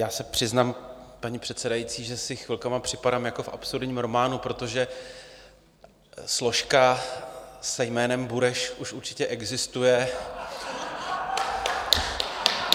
Já se přiznám, paní předsedající, že si chvilkama připadám jako v absurdním románu, protože složka se jménem Bureš už určitě existuje.